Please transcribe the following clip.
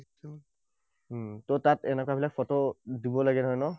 উম ত তাত এনেকুৱাবিলাক ফটো দিব লাগে নহয় ন?